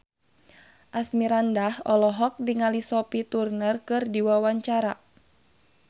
Asmirandah olohok ningali Sophie Turner keur diwawancara